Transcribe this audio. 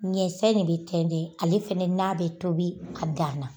Ɲɛsɛni de bɛ tɛntɛn, ale fana na bɛ tobi a dan na.